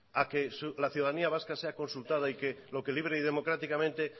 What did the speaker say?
a que la ciudadanía vasca sea consultada y que lo que libre y democráticamente